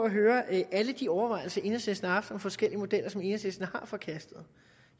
at høre alle de overvejelser enhedslisten har haft om forskellige modeller som enhedslisten har forkastet